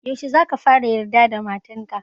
Yaushe za ka fara yarda da matan ka?